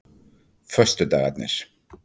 föstudagarnir